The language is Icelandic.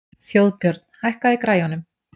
Þjóðbjörn, hækkaðu í græjunum.